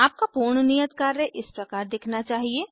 आपका पूर्ण नियत कार्य इस प्रकार दिखना चाहिए